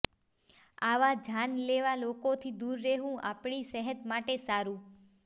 આવા જાનલેવા લોકોથી દૂર રહેવું આપણી સેહત માટે સારું